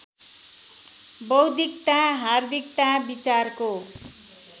बौद्धिकता हार्दिकता विचारको